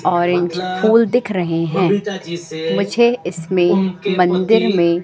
और स्कूल दिख रहे हैं मुझे इसमें मंदिर में--